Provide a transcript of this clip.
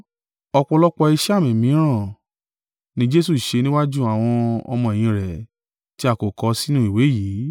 Ọ̀pọ̀lọpọ̀ iṣẹ́ àmì mìíràn ni Jesu ṣe níwájú àwọn ọmọ-ẹ̀yìn rẹ̀, tí a kò kọ sínú ìwé yìí.